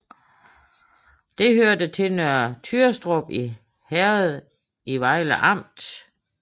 Det hørte til Nørre Tyrstrup Herred i Vejle Amt